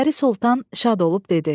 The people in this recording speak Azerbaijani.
Pəri Soltan şad olub dedi: